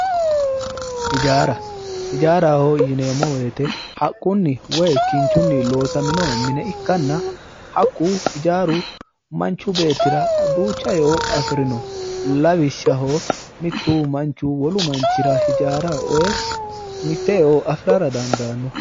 Hijaara, hijaaraho yineemo woyiitte haqunni woy kinchunni loosaminno mine ikkanna hakku hijaaru manchu beettira duucha e'o afirinno. Lawishshaho, mittu manchu wolu manchira hijaara oyee mitte e'o afirara dandaanno.